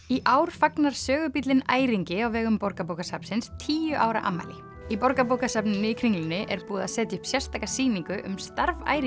í ár fagnar sögubíllinn Æringi á vegum Borgarbókasafnsins tíu ára afmæli í Borgarbókasafninu í Kringlunni er búið að setja upp sérstaka sýningu um starf